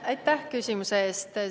Aitäh küsimuse eest!